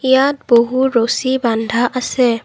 ইয়াত বহু ৰছী বান্ধা আছে।